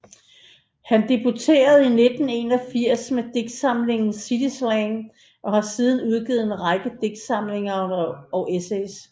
Han debuterede i 1981 med digtsamlingen City Slang og har siden udgivet en række digtsamlinger og essays